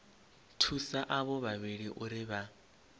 thusa avho vhavhili uri vha